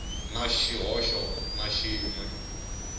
na xihoxo na xin we